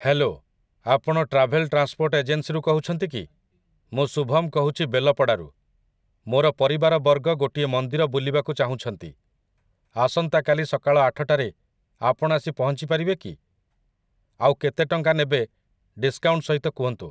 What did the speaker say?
Hello ! ଆପଣ travel transport ଏଜେନ୍ସିରୁ କହୁଛନ୍ତି କି? ମୁଁ ଶୁଭମ୍ କହୁଛି ବେଲପଡ଼ାରୁ । ମୋର ପରିବାରବର୍ଗ ଗୋଟିଏ ମନ୍ଦିର ବୁଲିବାକୁ ଚାହୁଁଛନ୍ତି । ଆସନ୍ତା କାଲି ସକାଳ ଆଠଟାରେ ଆପଣ ଆସି ପହଁଞ୍ଚିପାରିବେ କି ? ଆଉ କେତେ ଟଙ୍କା ନେବେ ଡିସ୍କାଉଣ୍ଟ୍ ସହିତ କୁହନ୍ତୁ ।